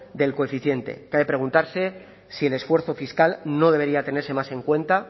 del coeficiente cabe preguntarse si el esfuerzo fiscal no debería tenerse más en cuenta